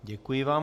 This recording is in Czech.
Děkuji vám.